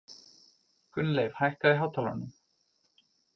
Gunnleif, hækkaðu í hátalaranum.